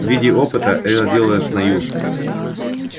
в виде опыта это делалось на ю